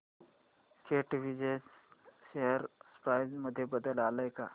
कॅटविजन share price मध्ये बदल आलाय का